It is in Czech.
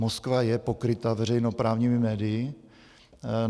Moskva je pokryta veřejnoprávními médii.